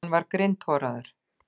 Hann var grindhoraður.